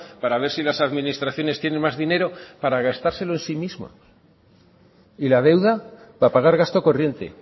para ver si las administraciones tienen más dinero para gastárselo en sí mismo y la deuda para pagar gasto corriente